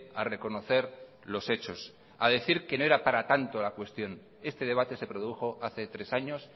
a reconocer los hechos a decir que no era para tanto la cuestión este debate se produjo hace tres años